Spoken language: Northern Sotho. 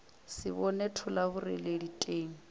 se bone thola boreledi teng